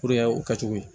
o kɛcogo ye